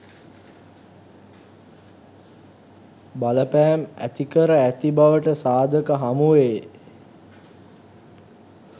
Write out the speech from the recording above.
බලපෑම් ඇතිකර ඇති බවට සාධක හමුවේ.